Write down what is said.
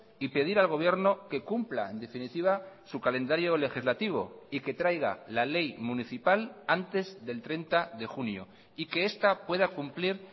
y pedir al gobierno que cumpla en definitiva su calendario legislativo y que traiga la ley municipal antes del treinta de junio y que esta pueda cumplir